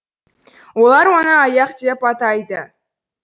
олар оны аяқ деп атайды